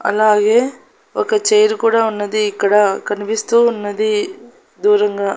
అలాగే ఒక చైరు కూడా ఉన్నది ఇక్కడ కనిపిస్తూ ఉన్నది దూరంగా--